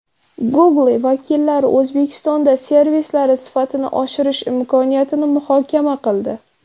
Google vakillari O‘zbekistonda servislari sifatini oshirish imkoniyatini muhokama qildi.